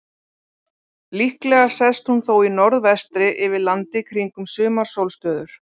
Líklega sest hún þó í norðvestri yfir landi kringum sumarsólstöður.